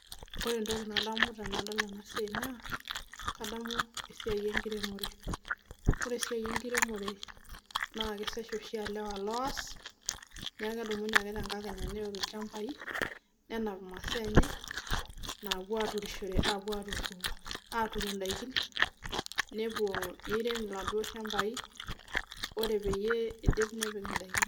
ore entoki nadamu tenadol ena naa esiai enkiremore naa ilewa oshi oos amuu kedumu imasaa enkiremore nepuo aiirem nepik endaa neeku esiai enkiremore nanu aitadamu ena